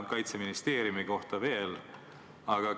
Kaitseministeeriumi kohta ma ei oska veel öelda.